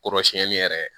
Kɔrɔsiyɛnni yɛrɛ